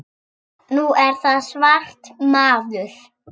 Nú er það svart, maður.